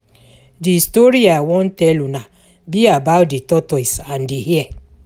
The story I wan tell una be about the tortoise and the hare